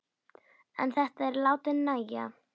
En þetta er látið nægja.